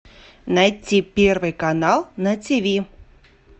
найти первый канал на тиви